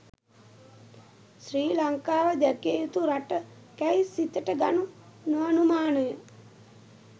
ශ්‍රී ලංකාව දැකිය යුතු රටකැයි සිතට ගනු නොඅනුමානය